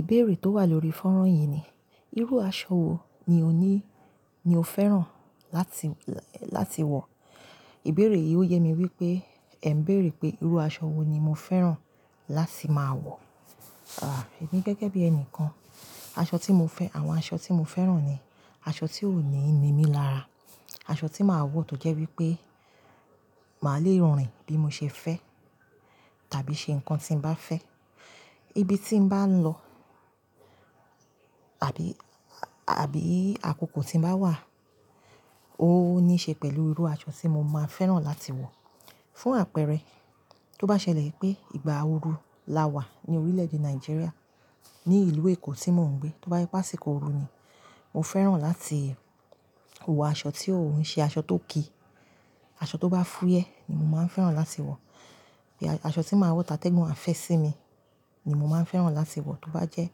Ìbéèrè tó wà lórí fọ́nrán yìí ni, irú aṣọ wo ni o ní, ni o fẹ́ràn láti, láti wọ̀? Ìbéèrè yìí ó yẹ mi wípé ẹ ń béèrè pé irú aṣọ wo ni mo fẹ́ràn láti máa wọ̀. Emí gẹ́gẹ́ bí ẹni kan, aṣọ tí mo fẹ́, àwọn aṣọ tí mo fẹ́ràn ni aṣọ tí ó ní ń nimí lára, aṣọ tí màá wọ tó jẹ́ wípé màá le rìn bí mo ṣe fẹ́ tàbí ṣe nǹkan tí ń bá fẹ́, ibi tí ń bá ń lọ àbí, àbí àkókò tí ń bá wà ó níí ṣe pẹ̀lú irú aṣọ tí mo máa fẹ́ràn láti wọ̀. Fún àpẹẹrẹ, tó bá ṣẹlẹ̀ wipé ìgbà ooru lá wà ní orílè-èdè Nigeria ní ìlú Èkó tí mò ń gbé, tó bá je àsìkò ooru ni, mo fẹ́ràn láti wọ aṣọ tí ò ń ṣe aṣọ tó ki, aṣọ tó bá fúyẹ́ ni mo máa ń fẹ́ràn láti wọ̀. Bí aṣọ tí màá wọ̀ àtẹ́gùn a fẹ́ sí mi ni mo máa ń fẹ́ràn láti wọ̀ tó bá jẹ́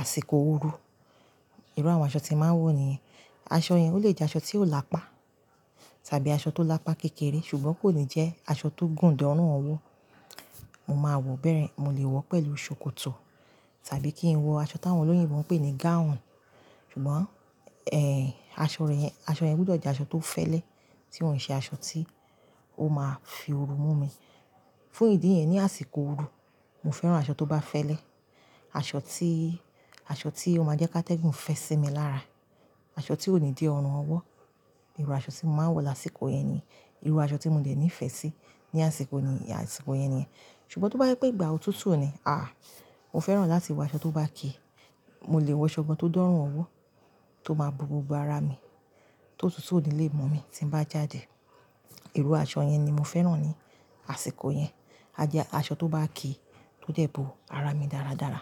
àsìkò ooru. Irú àwọn aṣọ tí màá ń wọ̀ nìyẹn. Aṣọ yẹn ó lè jẹ́ aṣọ tí ò lápá tàbí aṣọ tó lápá kékeré ṣùgbọ́n kò ní jẹ́ aṣọ tó gùn dọ́rùn ọwọ́. Mo máa wọ̀ bẹ́rẹ, mo lè wọ̀ pẹ̀lú ṣòkòtò tàbí kí n wọ aṣọ táwọn olóyìnbo ń pè ní gown. Ṣùgbọ́n, aṣọ rẹ̀ yẹn, aṣọ yẹn gbúdọ̀ jẹ́ aṣọ tó fẹ́lẹ́ tí ò ń ṣe aṣọ tí ó máa fi ooru mú mi. Fún ìdí ẹyi ní àsìkò ooru, mo fẹ́ràn aṣọ tó bá fẹ́lẹ́, aṣọ tí, aṣọ tí ó máa jẹ́ ki atẹ́gùn fẹ́ sí mi lára, aṣọ tí ò ní dé ọrùn ọwọ́. Irú aṣọ tí mo máa ń wọ̀ lásìkò yẹn ni irú aṣọ tí mo dẹ̀ ní ìfẹ́ sí ní àsìkò ni, àsìkò yẹn nìyẹn. Ṣùgbọ́n tó bá jẹ́ pé ìgbà òtútù ni, mo fẹ́ràn láti wọ aṣọ tó bá ki, mo lè wọ aṣọ tó dọ́rùn ọwọ́ tó máa bo gbogbo ara mi, tó tútù nílé mọ́ mi tí ń bá jáde. Irú aṣọ yẹn ni mo fẹ́ràn ní àsìkò yẹn. A jẹ aṣọ tó bá ki tó dẹ bo ara mi dáradára.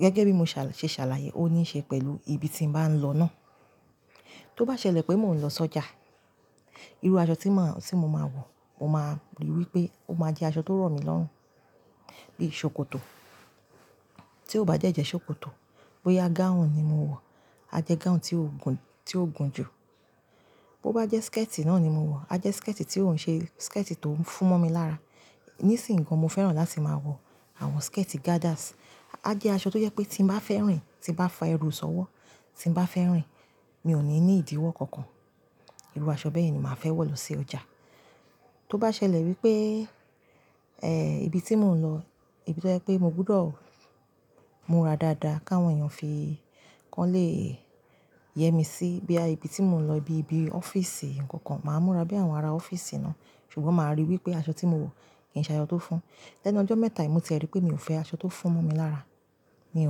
Gẹ́gẹ́ bí mo ṣà-- ṣe ṣàlàyé ó níí ṣe pẹ̀lú ibi tíń bá ń lọ náà. Tó bá ṣẹlẹ̀ pé mò ń lọ sọ́jà, irú aṣọ tí màá, tí mo máa wọ̀, mo máa rí wípé ó máa jẹ́ aṣọ tó rọ̀ mí lọ́rùn bí i ṣòkòtò. Tí ó bá jẹ́ ṣòkòtò, bóyá gown ni mo wọ̀, a jẹ́ gown tí ó gùn, tí ó gùn jù. Bo bá jẹ́ skirt náà ni mo wọ̀, a jẹ́ skirt tí ò ń ṣe skirt tó ń fún mọ́ mi lára. Nísìń gan mo fẹ́ràn láti máa wọ àwọn skirt gathers. A jẹ́ aṣọ tó jẹ́ pé tí ń bá fẹ́ rìn, tí ń bá fọ ẹrú sọ ọwọ́, tí ń bá fẹ́ rìn mi ò ní, ní ìdíwọ́ kankan. Irú aṣọ bẹ́ẹ̀ yen ni màá fẹ́ wọ̀ lọ sí ọjà. Tó bá ṣẹlẹ̀ wípé, ibi tí mò ń lọ, ibi tí ó jẹ́ pé mo gbúdọ̀ múra dáadáa káwọn èèyàn fi kàn lé e yẹmísí bíya ibi tí mò ń lọ bíi ibi office nǹkan kan, màá múra bí àwọn ará office náà ṣùgbọ́n màá ríi wípé aṣọ tí mo wọ̀ kì í ṣe aṣọ tó fún. Lẹ́nu ọjọ́ mẹ́ta yìí mo ti rí pé mi ò fẹ́ aṣọ tó fún mọ́ mi lára, mi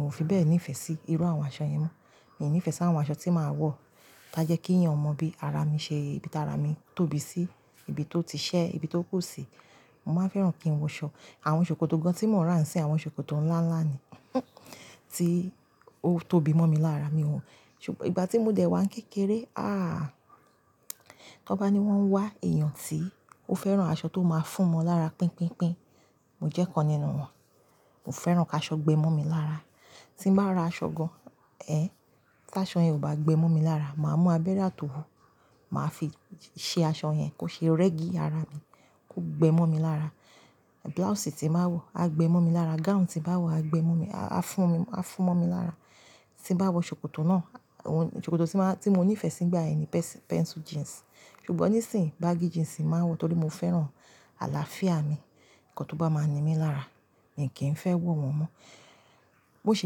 ò fi bẹ́ẹ̀ ní ìfẹ́ sí irú àwọn aṣọ yẹn mọ́. Mi ò ní ìfẹ́ sí àwọn aṣọ tí màá wọ̀ tía jẹ́ kí èèyàn mọ bí ara mi ṣe, ibi tí ara mi tóbi sí, ibi tó ti ṣẹ́, ibi tó kù sì. Mo máa ń fẹ́ràn kí n wọ aṣọ, àwọn ṣòkòtò gan tí mò ń rà ń sì àwọn ṣòkòtò ńlá ńlá ni tí ó tóbi mọ́ mi lára mi ò wọ̀. Ṣùgbọ́n ìgbà tí mo dẹ̀ wá ń kékeré, tó bá ní wọ́n ń wá èèyàn tí ó fẹ́ràn aṣọ tó máa fún ọmọ lára pínpínpín, mo jẹ́ kan nínú wọn. Mo fẹ́ràn ká aṣọ gbé mọ́ mi lára. Tí ń bá ra aṣọ gan, ẹ́, ká aṣọ yẹn ò bá gbé mọ́ mi lára, màá mú abẹ́rẹ́ àtòwú, màá fi ṣe aṣọ yẹn kó ṣe régí ara mi kó gbé mọ́ mi lára. Blouse tí bàá wọ̀ a gbé mọ́ mi lára, gown tí bàá wọ̀ a gbé mọ́ mi, a fún mi, a fún mọ́ mi lára. Tí ń bá wọ ṣòkòtò náà, ṣòkòtò tí màá, tí mo ní ìfẹ́ sí nígbà yìí ni pencil jeans ṣùgbọ́n nísìń baggy jeans ni màá ń wọ̀ torí mo fẹ́ràn àlàáfíà mi. Ǹkan tó bá máa ń ni mí lára, mi kì í fẹ́ wọ̀ wọ́n mọ́. Mo sì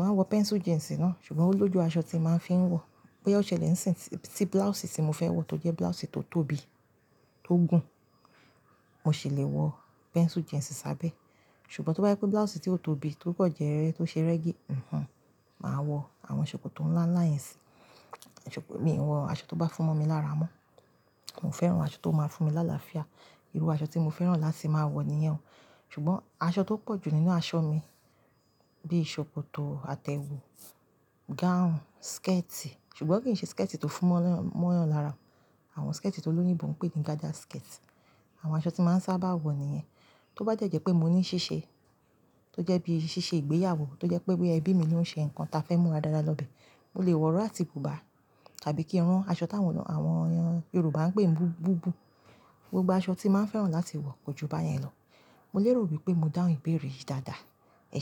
máa ń wọ pencil jeans náà ṣùgbọ́n ó lójú aṣọ tí màá fi ń wọ̀. Bóyá ó ṣẹlẹ̀ ní ìsìn tí blouse tí mo fẹ́ wọ̀ tó jẹ́ blouse tó tóbi, tó gùn, mo sì lè wọ pencil jeans sábẹ́. Ṣùgbọ́n tó bá jẹ́ pé blouse tí ó tóbi tókàn jẹ́ tó ṣe régí, màá wọ àwọn ṣòkòtò ńlá ńlá yẹn sí. Mi ò ń wọ aṣọ tó bá fún mọ́ mi lára mọ́. Mo fẹ́ràn aṣọ tó máa ń fún mi láàlàáfíà. Irú aṣọ tí mo fẹ́ràn láti máa wọ̀ nìyẹn. Ṣùgbọ́n aṣọ tó pọ̀ jù nínú aṣọ mi bí ṣòkòtò, atẹ̀wu, gown, skirt ṣùgbọ́n kì í ṣe skirt tó fún ma, ma yan lára. Àwọn skirt tó olóyìnbo ń pè ní gather skirt. Àwọn aṣọ tí màá ń sábà wọ̀ nìyẹn. Tó bá jẹ́ pé mo ní ṣíṣe tó jẹ́ bí i ṣíṣe ìgbéyàwó tó jẹ́ pé bí ẹbí mi ni ó ń ṣe nǹkan tí a fẹ́ múra dáadáa lọ́bẹ̀, mo lè wọ iro àti bùbá tàbí kí n rán aṣọ táwọn Yorùbá ń pè ní bùbù. Gbogbo aṣọ tí màá ń fẹ́ràn láti wọ̀ kojú bá yẹn lọ. Mo lè rò wípé mo dáhùn ìbéèrè yìí dáadáa ẹsẹ.